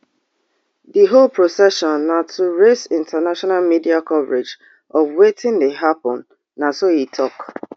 di whole procession na to raise international media coverage of wetin dey happun na so e tok